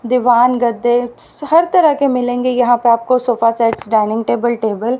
दीवान गद्दे हर तरह के मिलेंगे यहां पे आपको sofa sets dining table table.